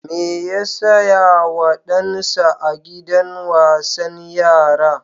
Me ya saya wa ɗansa a gidan wasan yara?